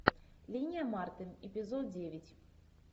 линия марты эпизод девять